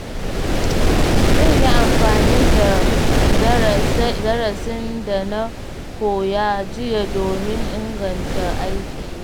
Zan yi amfani da darasin da na koya jiya domin inganta aikina.